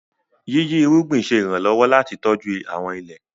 yiyi irúgbìn ṣe iranlọwọ láti tọjú àwọn ilé.